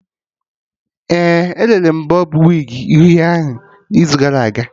Ee, ere m bọb wigi uhie ahụ n'izu gara aga